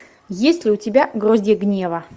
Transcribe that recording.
есть ли у тебя гроздья гнева